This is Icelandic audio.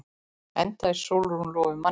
Enda er Sólrún lofuð manni.